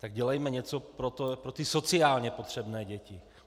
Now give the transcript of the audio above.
Tak dělejme něco pro ty sociálně potřebné děti.